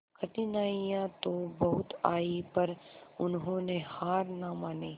कठिनाइयां तो बहुत आई पर उन्होंने हार ना मानी